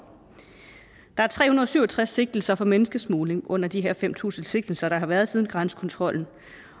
der er tre hundrede og syv og tres sigtelser for menneskesmugling under de her fem tusind sigtelser der har været siden grænsekontrollen